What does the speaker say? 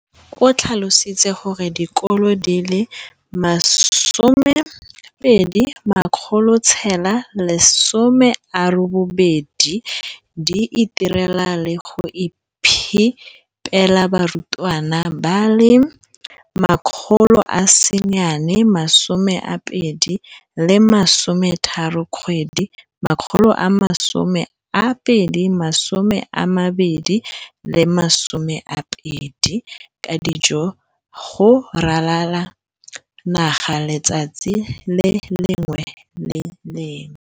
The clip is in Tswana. o tlhalositse gore dikolo di le 20 619 di itirela le go iphepela barutwana ba le 9 032 622 ka dijo go ralala naga letsatsi le lengwe le le lengwe.